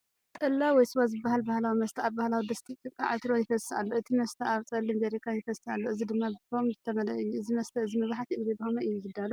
ጠላ/ስዋ ዝበሃል ባህላዊ መስተ ኣብ ባህላዊ ድስቲ ጭቃ (ዕትሮ) ይፈስስ ኣሎ። እቲ መስተ ኣብ ጸሊም ጀርካን ይፈስስ ኣሎ፡ እዚ ድማ ብፎም ዝተመልአ እዩ። እዚ መስተ እዚ መብዛሕትኡ ግዜ ብኸመይ እዩ ዝዳሎ፧